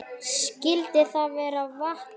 Skyldi það vera vatnið?